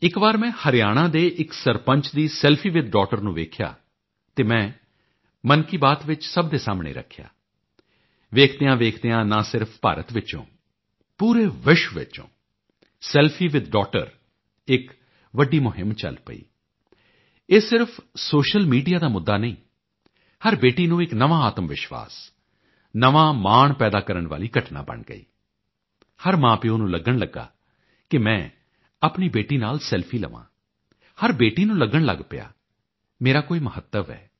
ਇੱਕ ਵਾਰ ਮੈਂ ਹਰਿਆਣਾ ਦੇ ਇੱਕ ਸਰਪੰਚ ਦੀ ਸੈਲਫੀ ਵਿਥ ਡੌਥਟਰ ਨੂੰ ਵੇਖਿਆ ਅਤੇ ਮੈਂ ਮਨ ਕੀ ਬਾਤ ਵਿੱਚ ਸਭ ਦੇ ਸਾਹਮਣੇ ਰੱਖਿਆ ਵੇਖਦਿਆਂਵੇਖਦਿਆਂ ਨਾ ਸਿਰਫ ਭਾਰਤ ਵਿੱਚੋਂ ਪੂਰੇ ਵਿਸ਼ਵ ਵਿੱਚ ਸੈਲਫੀ ਵਿਥ ਡੌਥਟਰ ਇੱਕ ਵੱਡੀ ਮੁਹਿੰਮ ਚੱਲ ਪਈ ਇਹ ਸਿਰਫ ਸੋਸ਼ੀਅਲ ਮੀਡੀਆ ਦਾ ਮੁੱਦਾ ਨਹੀਂ ਹਰ ਬੇਟੀ ਨੂੰ ਇੱਕ ਨਵਾਂ ਆਤਮਵਿਸ਼ਵਾਸ ਨਵਾਂ ਮਾਣ ਪੈਦਾ ਕਰਨ ਵਾਲੀ ਘਟਨਾ ਬਣ ਗਈ ਹਰ ਮਾਂਪਿਓ ਨੂੰ ਲੱਗਣ ਲੱਗਾ ਕਿ ਮੈਂ ਆਪਣੀ ਬੇਟੀ ਨਾਲ ਸੈਲਫੀ ਲਵਾਂ ਹਰ ਬੇਟੀ ਨੂੰ ਲੱਗਣ ਲੱਗ ਪਿਆ ਮੇਰਾ ਕੋਈ ਮਹੱਤਵ ਹੈ